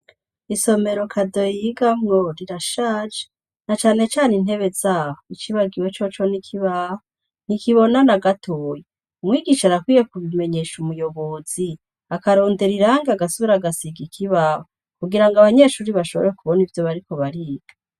Isomero kadoyiga ngo rirashaje na canecane intebe zaho icibagiwe co co nikibaho ntikibona na gatoyi umwigisha arakwiye kubimenyesha umuyobozi akarondera irangi agasubira agasiga ikibaho kugira ngo abanyeshuri bashobore kubona ivyo bariko bariga.